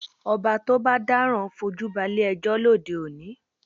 Ọba tó bá dáràn fojú balé ẹjọ́ lóde òní